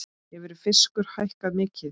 Hefur fiskur hækkað mikið?